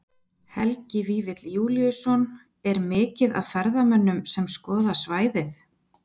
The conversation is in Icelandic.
Helgi Vífill Júlíusson: Er mikið af ferðamönnum sem skoða svæðið?